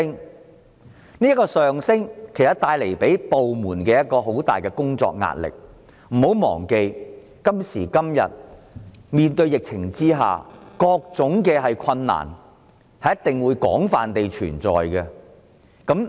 但是，這個上升會為部門帶來很大工作壓力，不要忘記，在今時今日的疫情下，各種困難都會存在。